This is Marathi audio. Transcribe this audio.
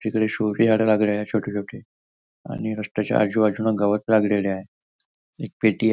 तिकडे शो ची झाड लागली आहे छोटी छोटी आणि रस्त्याच्या आजूबाजूने गवत लागलेल आहे एक पेटी आहे.